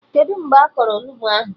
Kedụ mgbe a kọrọ Onugbu ahụ?